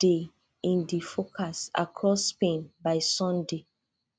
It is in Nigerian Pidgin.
dey in di forecast across spain by sunday